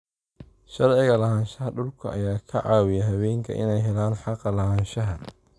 Sharciga lahaanshaha dhulka ayaa ka caawiyay haweenka inay helaan xaqa lahaanshaha